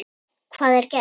Hvað er gert?